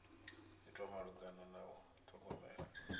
itwa malugana na u ṱhogomela